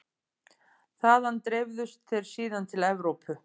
Þaðan dreifðust þeir síðan til Evrópu.